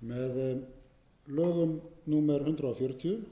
með lögum númer hundrað